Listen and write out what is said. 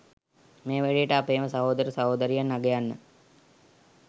මේ වැඩේට අපේම සහෝදර සහෝදරියන් අගයන්න